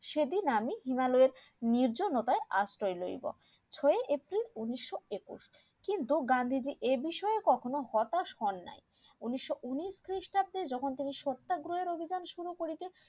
সেদিন আমি হিমালয় নির্জনতাই আশ্রয় লইবো ছয় april উনিশশো একুশে কিন্তু গান্ধীজি এ বিষয়ে কখনো হতাশ হন নাই উনিশশো উনিশ খ্রিস্টাব্দে যখন তিনি সত্যাগ্রহ অভিযান শুরু করিতে